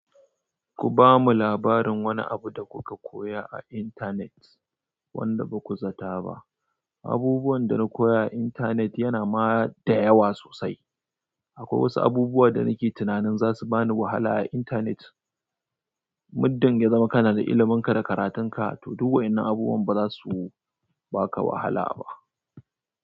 Ku ba mu labarin wani abu da ku ka koya a intanet wanda baku zata ba abubuwan da na koya a internet ya na ma da yawa sosai. Akwai wasu abubuwa da nike tunanin za su ba ni wahala a intanet, muddin ya zama kana da ilimanka da karatunka, to duk wa'yannan abubuwan ba za su baka wahala ba.